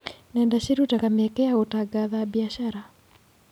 Nenda cirutaga mĩeke ya gũtangatha biacara.